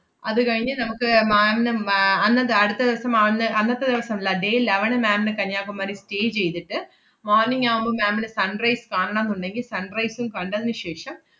അതുകഴിഞ്ഞ് നമ്മക്ക് ma'am ന് മ്~ ആഹ് അന്നത്തെ അടുത്ത ദെവസം ma'am ന് അന്നത്തെ ദെവസം ~ല്ല day eleven ന് ma'am ന് കന്യാകുമാരി stay ചെയ്തിട്ട് morning ആവുമ്പം ma'am ന് sunrise കാണണംന്നുണ്ടെങ്കി sunrise ഉം കണ്ടതിനു ശേഷം,